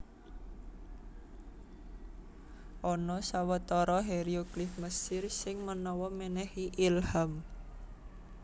Ana sawetara hieroglif Mesir sing manawa mènèhi ilham